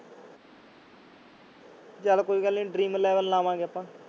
ਚੱਲ ਕੋਈ ਗੱਲ ਨੀ dream eleven ਲਾਵਾਂਗੇ ਆਪਾਂ